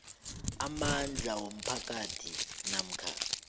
amandla womphakathi namkha